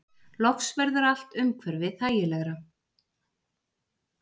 Loks verður allt umhverfi þægilegra.